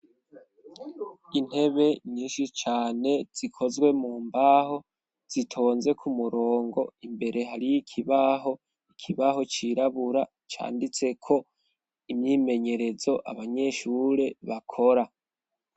Intebe nyinshi cane zikozwe mu mbaho zitonze ku murongo imbere hariyo ikibaho, ikibaho cirabura canditseko imyimenyerezo abanyeshure bakora.